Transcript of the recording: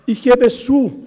Ich gebe es zu: